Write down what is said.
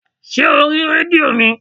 Ṣé o rí rédíò mi?